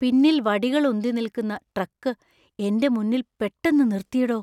പിന്നിൽ വടികൾ ഉന്തി നിൽക്കുന്ന ട്രക്ക് എന്‍റെ മുന്നിൽ പെട്ടെന്ന് നിർത്തിയെടോ.